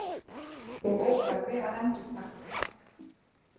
Og óþarfi að endurtaka það.